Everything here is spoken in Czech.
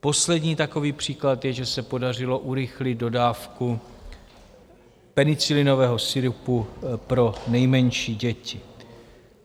Poslední takový příklad je, že se podařilo urychlit dodávku penicilinového sirupu pro nejmenší děti.